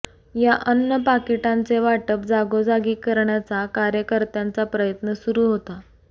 या अन्न पाकिटाचे वाटप जागोजागी करण्याचा कार्यकर्त्यांचा प्रयत्न सुरू होता